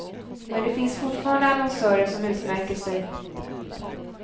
Men det finns fortfarande annonsörer som utmärker sig.